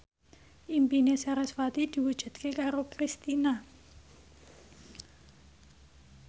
impine sarasvati diwujudke karo Kristina